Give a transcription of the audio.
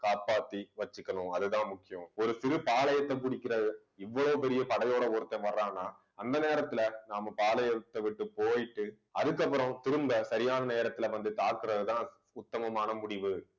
காப்பாத்தி வச்சுக்கணும் அதுதான் முக்கியம் ஒரு சிறு பாளையத்தை பிடிக்கிற இவ்வளவு பெரிய படையோட ஒருத்தன் வர்றான்னா அந்த நேரத்துல நாம பாளையத்தை விட்டு போயிட்டு அதுக்கப்புறம் திரும்ப சரியான நேரத்துல வந்து தாக்குறதுதான் உத்தமமான முடிவு